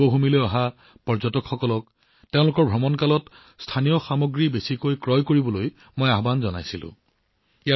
দেৱভূমিলৈ অহা পৰ্যটকসকলক তেওঁলোকৰ ভ্ৰমণৰ সময়ত যিমান পাৰি সিমান স্থানীয় সামগ্ৰী ক্ৰয় কৰিবলৈ আহ্বান জনাইছিলোঁ